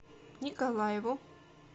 николаеву